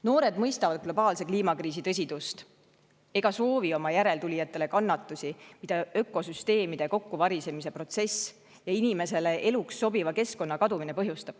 Noored mõistavad globaalse kliimakriisi tõsidust ega soovi oma järeltulijatele kannatusi, mida ökosüsteemide kokkuvarisemise protsess ja inimesele eluks sobiva keskkonna kadumine põhjustab.